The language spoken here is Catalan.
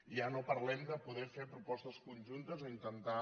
ja no parlem de poder fer propostes conjuntes o intentar